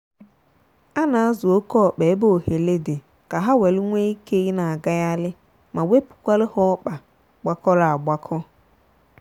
a na azụ oke ọkpa ebe ohele dị ka ha welu nwe ike ịna agaghali ma wepukwalu ha ọkpa gbakọrọ agbakọọ.